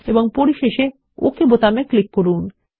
এবং পরিশেষে ওকে বোতামে ক্লিক করুন